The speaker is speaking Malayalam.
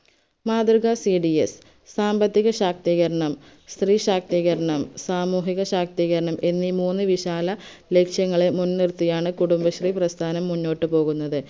മാതൃക cds സാമ്പത്തിക ശാക്തീകരണം സ്ത്രീ ശാക്തീകരണം സാമൂഹിക ശാക്തീകരണം എന്നീ മൂന്ന് വിശാല ലക്ഷ്യങ്ങളെ മുൻ നിർത്തിയാണ് കുടുംബശ്രീ പ്രസ്ഥാനം മുന്നോട്ട് പോകുന്നത്